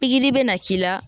bɛ na k'i la.